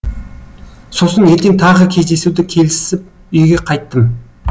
сосын ертең тағы кездесуді келісіп үйге қайттым